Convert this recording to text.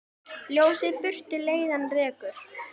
Ljósið burtu leiðann rekur.